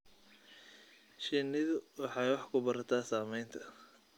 Shinnidu waxay wax ku barataa samaynta.